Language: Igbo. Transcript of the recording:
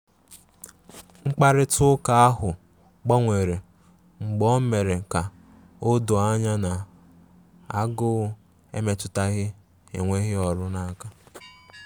Mkparịta ụka ahụ gbanwere mgbe o mere ka ọ doo anya na agụụ emetụtaghi enweghị ọrụ n'aka.